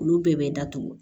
Olu bɛɛ bɛ datugu